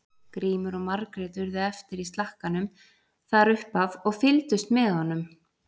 Grímur og Margrét urðu eftir í slakkanum þar upp af og fylgdust með honum.